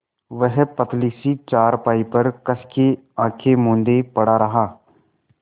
वह पतली सी चारपाई पर कस के आँखें मूँदे पड़ा रहा